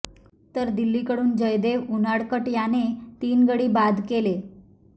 तर दिल्लीकडून जयदेव उनाडकट याने तीन गडी बाद केले